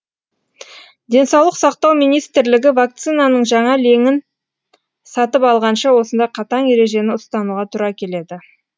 денсаулық сақтау министрлігі вакцинаның жаңа легін сатып алғанша осындай қатаң ережені ұстануға тура келеді